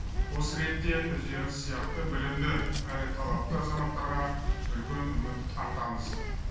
осы ретте өздеріңіз сияқты білімді әрі талапты азаматтарға үлкен үміт артамыз